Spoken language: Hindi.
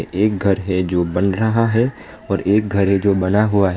एक घर है जो बन रहा है और एक घर है जो बना हुआ है।